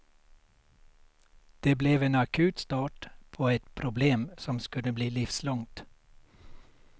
Det blev en akut start på ett problem som skulle bli livslångt.